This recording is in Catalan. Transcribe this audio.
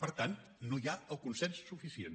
per tant no hi ha el consens suficient